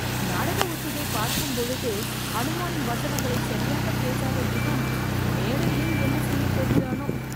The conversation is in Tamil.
நாடக ஒத்திகை பார்க்கும்பொழுது அனுமானின் வசனங்களை சரியாக பேசாத இவன் மேடையில் என்ன செய்யப் போகிறானோ